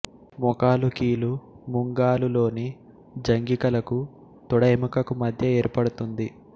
మోకాలు కీలు ముంగాలులోని జంఘికలకు తొడ ఎముకకు మధ్య ఏర్పడుతుంది